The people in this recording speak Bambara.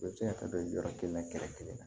U bɛ se ka taa don yɔrɔ kelen na kɛrɛfɛ kelen na